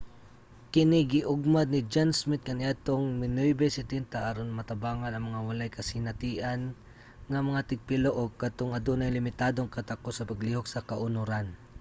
kini giugmad ni john smith kaniadtong 1970s aron matabangan ang mga walay kasinatian nga mga tigpilo o kadtong adunay limitadong katakos sa paglihok sa kaunoran